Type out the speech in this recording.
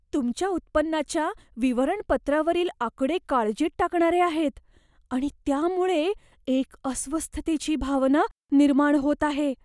तुमच्या उत्पन्नाच्या विवरणपत्रावरील आकडे काळजीत टाकणारे आहेत आणि त्यामुळे एक अस्वस्थतेची भावना निर्माण होत आहे.